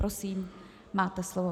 Prosím, máte slovo.